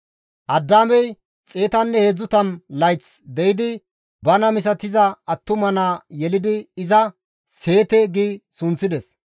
Addaamey 130 layth de7idi bana misatiza attuma naa yelidi iza, «Seete» gi sunththides.